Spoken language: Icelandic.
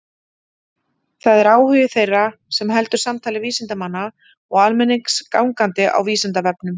Það er áhugi þeirra sem heldur samtali vísindamanna og almennings gangandi á Vísindavefnum.